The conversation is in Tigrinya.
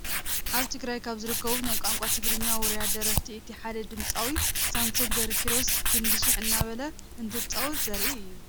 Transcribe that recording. ኣብ ትግራይ ካብ ዝርከቡ ናይ ቋንቋ ትግርኛ ውሩያት ደረፍቲ እቲ ሓደ ድምፃዊ ሳምሶን ገ/ኪሮስ ክንዲ ሽሕ እናበለ እንትፃወት ዘርኢ እዩ፡፡